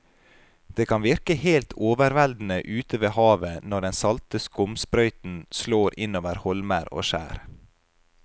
Det kan virke helt overveldende ute ved havet når den salte skumsprøyten slår innover holmer og skjær.